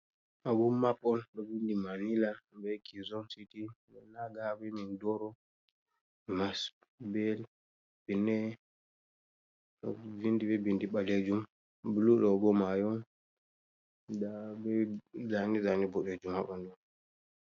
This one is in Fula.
Awummapol ɗo vindi Manila bee Kizon city ndaa Naga bee Mindoro, Masbete, ɗo vinndi bee bindi ɓaleejum, blu ɗo boo maayo on, ndaa bee zaane-zaane boɗeejum haa ɓanndu man..